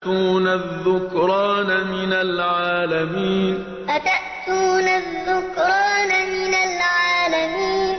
أَتَأْتُونَ الذُّكْرَانَ مِنَ الْعَالَمِينَ أَتَأْتُونَ الذُّكْرَانَ مِنَ الْعَالَمِينَ